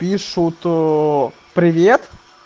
пишу то привет